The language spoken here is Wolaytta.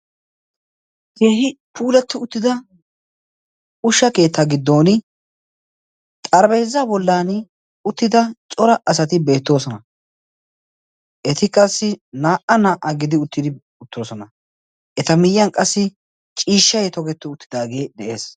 keehi puulatti uttida ushsha keettaa giddon xarabeezza bollan uttida cora asati beettoosona eti qassi naa77a naa77aa gidi uttidi uttoosona eta miyiyan qassi ciishsha toketti uttidaagee de7ees